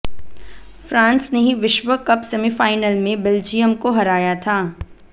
France ने ही विश्व कप सेमीफाइनल में बेल्जियम को हराया था